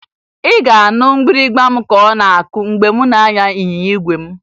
Ị ga-anụ mgbịrịmgba m ka ọ na-akụ mgbe m na-anya ịnyịnya igwe m